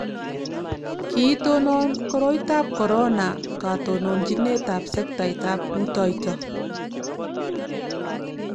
Kiitonon koroitab korona katononchinetab sektaitab rutoiyo